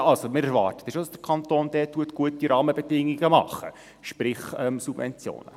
Wir erwarten schon, dass der Kanton gute Rahmenbedingungen macht, sprich Subventionen.